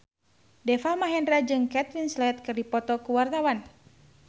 Deva Mahendra jeung Kate Winslet keur dipoto ku wartawan